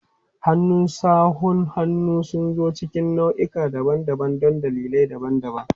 Hannun sawun hannu sun zo cikin nau'ikan daban-daban don dalilai daban-daban.